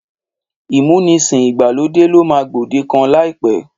Ìmúnisìn ìgbàlódé ló máa gbòdekàn láìpẹ́.